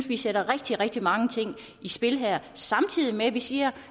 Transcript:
vi sætter rigtig rigtig mange ting i spil her samtidig med at vi siger